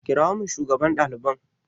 Kirawo min shugaban ɗaliban!